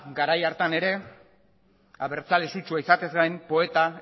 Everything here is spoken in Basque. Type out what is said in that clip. garai hartan ere abertzale sutsua izatez gain poeta